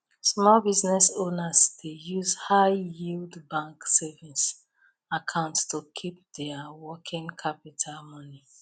small business owners dey use high yield bank savings account to keep their working capital money